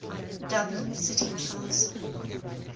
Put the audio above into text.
dublin city council